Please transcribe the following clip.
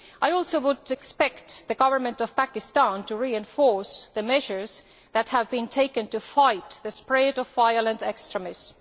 I also would expect the government of Pakistan to reinforce the measures that have been taken to fight the spread of violent extremism.